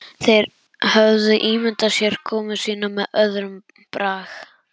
Þeir höfðu ímyndað sér komu sína með öðrum brag.